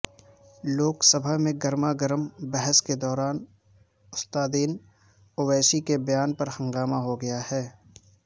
لوک سبھا میں گرما گرم بحث کے دوران اسدالدین اویسی کے بیان پرہنگامہ ہوگیاہے